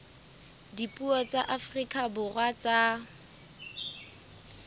dipuo tsa afrika borwa tsa